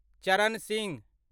चरण सिंह